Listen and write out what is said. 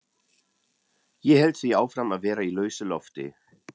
Ég hélt því áfram að vera í lausu lofti.